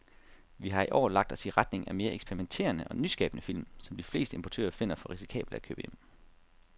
Vi har i år lagt os i retning af mere eksperimenterede og nyskabende film, som de fleste importører finder for risikable at købe hjem.